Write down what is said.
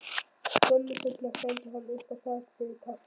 Skömmu seinna stendur hann upp og þakkar fyrir kaffið.